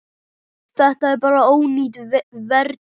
Þetta er bara ónýt vertíð.